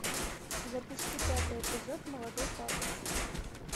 запусти пятый эпизод молодой папа